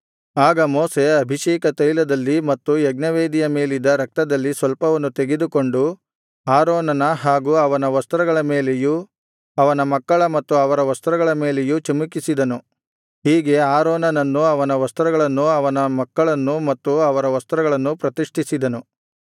ಆಗ ಮೋಶೆ ಅಭಿಷೇಕತೈಲದಲ್ಲಿ ಮತ್ತು ಯಜ್ಞವೇದಿಯ ಮೇಲಿದ್ದ ರಕ್ತದಲ್ಲಿ ಸ್ವಲ್ಪವನ್ನು ತೆಗೆದುಕೊಂಡು ಆರೋನನ ಹಾಗೂ ಅವನ ವಸ್ತ್ರಗಳ ಮೇಲೆಯೂ ಅವನ ಮಕ್ಕಳ ಮತ್ತು ಅವರ ವಸ್ತ್ರಗಳ ಮೇಲೆಯೂ ಚಿಮುಕಿಸಿದನು ಹೀಗೆ ಆರೋನನನ್ನು ಅವನ ವಸ್ತ್ರಗಳನ್ನು ಅವನ ಮಕ್ಕಳನ್ನು ಮತ್ತು ಅವರ ವಸ್ತ್ರಗಳನ್ನು ಪ್ರತಿಷ್ಠಿಸಿದನು